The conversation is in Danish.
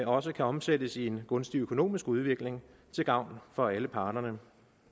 også kan omsættes i en gunstig økonomisk udvikling til gavn for alle parterne